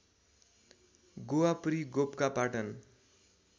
Govapuri Gopakapatan